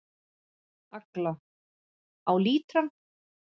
Agla: Á lítrann.